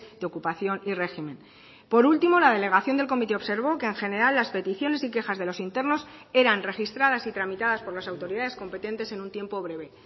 de ocupación y régimen por último la delegación del comité observó que en general las peticiones y quejas de los internos eran registradas y tramitadas por las autoridades competentes en un tiempo breve